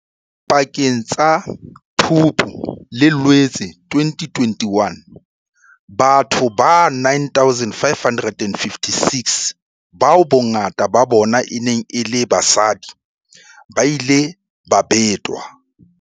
Pakeng tsa Phupu le Loetse 2021, batho ba 9 556, bao bongata ba bona e neng e le basadi, ba ile ba betwa.